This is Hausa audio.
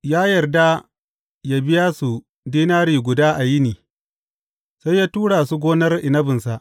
Ya yarda yă biya su dinari guda a yini, sai ya tura su gonar inabinsa.